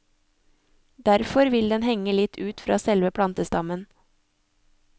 Derfor vil den henge litt ut fra selve plantestammen.